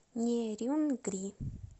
нерюнгри